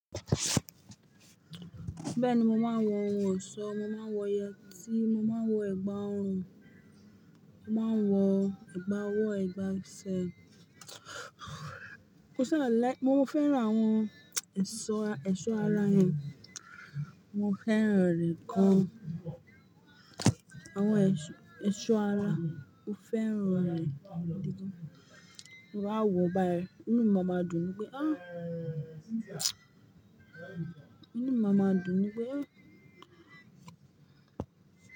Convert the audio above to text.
Bẹ́ẹ̀ni, mo máa ń wọ ohun ọ̀ṣọ́, mo máa ń wọ yẹtí, mo máa ń wọ ẹ̀gbà ọrùn, mo máa ń wọ ẹ̀gbà ọwọ́, ẹ̀gbà ẹsẹ̀. Mò sa like-- mo fẹ́ran àwọn èso ara yẹn, mo fẹ́ràn rẹ̀ gan. Àwọn èso ara, mo fẹ́ràn rẹ̀ gidi gan. Tí mo bá wò báyìí, inú mi máa ma dùn pé "ááà!" Inú mi máa ma dùn ni pé "ááà!"